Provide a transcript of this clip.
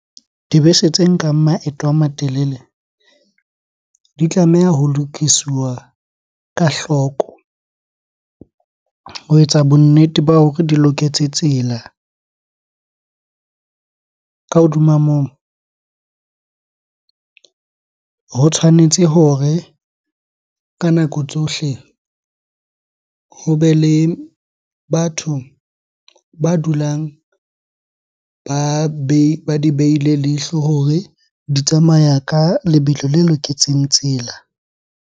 Dibese tse nkang maeto a matelele di tlameha ho lokisiwa ka hloko ho etsa bonnete ba hore di loketse tsela. Ka hodima moo, ho tshwanetse hore ka nako tsohle hobe le batho ba dulang ba ba di behile leihlo hore di tsamaya ka lebelo le loketseng tsela.